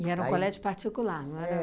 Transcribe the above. era um colégio particular, não era?